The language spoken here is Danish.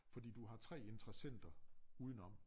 Fordi du har 3 interessenter udenom